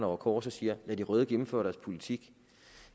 over kors og siger lad de røde gennemføre deres politik